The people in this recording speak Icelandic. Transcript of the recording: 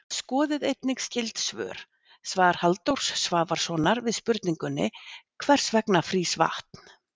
Skoðið einnig skyld svör: Svar Halldórs Svavarssonar við spurningunni Hvers vegna frýs vatn?